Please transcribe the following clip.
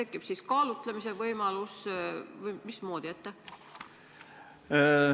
Kas tekib kaalutlemise võimalus või mismoodi siis toimitakse?